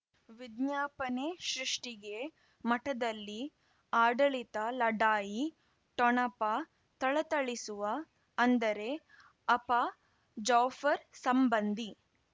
ವಿಜ್ಞಾಪನೆ ಸೃಷ್ಟಿಗೆ ಮಠದಲ್ಲಿ ಆಡಳಿತ ಲಢಾಯಿ ಠೊಣಪ ಥಳಥಳಿಸುವ ಅಂದರೆ ಅಪ್ಪ ಜಾಫರ್ ಸಂಬಂಧಿ